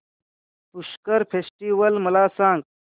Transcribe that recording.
Pushkar festival मला सांग